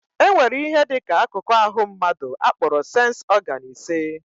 Enwere ihe dị ka akụkụ ahụ mmadụ akporo séns ọgán ise